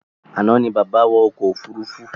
Àná ní bàbá wọ̀ ọkọ̀ òfurufú